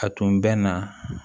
A tun bɛ na